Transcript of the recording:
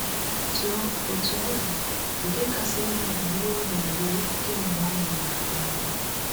Otú ọ Otú ọ dị, nke kasị njọ bụ iwe ọ na-ewe kemgbe ọ ṅụwara mmanya.